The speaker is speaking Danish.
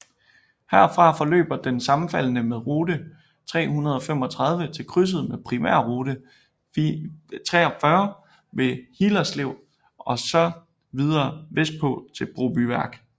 Herfra forløber den sammenfaldende med rute 335 til krydset med primærrute 43 ved Hillerslev og så videre vestpå til Brobyværk